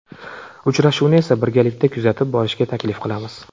Uchrashuvni esa birgalikda kuzatib borishga taklif qilamiz.